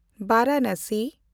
Varanasi